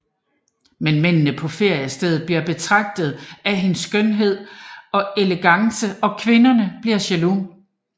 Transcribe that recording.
Men mændene på feriestedet bliver betaget af hendes skønhed og elegance og kvinderne bliver jaloux